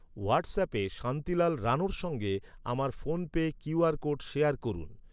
হোয়াটসঅ্যাপে শান্তিলাল রাণোর সঙ্গে আমার PhonePe Q R code share করুন।